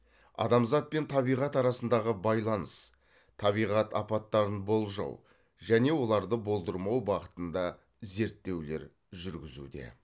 адамзат пен табиғат арасындағы байланыс табиғат апаттарын болжау және оларды болдырмау бағытында зерттеулер жүргізуде